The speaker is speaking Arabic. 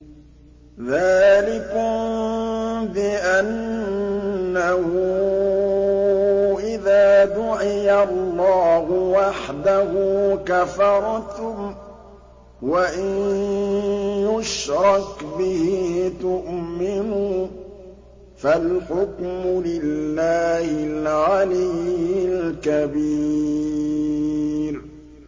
ذَٰلِكُم بِأَنَّهُ إِذَا دُعِيَ اللَّهُ وَحْدَهُ كَفَرْتُمْ ۖ وَإِن يُشْرَكْ بِهِ تُؤْمِنُوا ۚ فَالْحُكْمُ لِلَّهِ الْعَلِيِّ الْكَبِيرِ